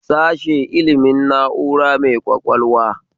Sashe ilimin na'ura mai ƙwaƙwalwa